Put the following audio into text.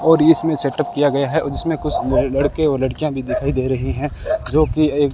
और इसमें सेटअप किया गया है जिसमें कुछ लड़के और लड़कियां भी दिखाई दे रही हैं जो की एक--